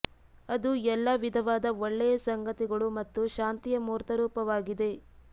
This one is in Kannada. ಅದು ಎಲ್ಲಾ ವಿಧವಾದ ಒಳ್ಳೆಯ ಸಂಗತಿಗಳು ಮತ್ತು ಶಾಂತಿಯ ಮೂರ್ತ ರೂಪವಾಗಿದೆ